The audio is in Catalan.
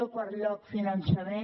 en quart lloc finançament